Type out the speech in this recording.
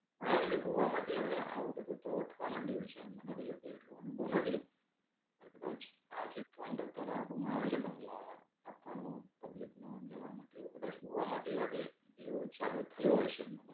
અને હવે છેને ગોવા માં ભી હવે આવું બધું તો થવા માંડ્યું છે. મને તો જો કે એટલો અનુભવ નથી. પણ કદાચ the trend અત્યારે આબુ માં આવ્યો છે. બઁગલા આપવાનો public ને રહેવા માટે એવું કદાચ ગોવા માં ભી હવે એવું ચાલુ થયું હશે.